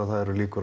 líkur